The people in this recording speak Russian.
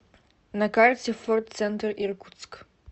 на карте форд центр иркутск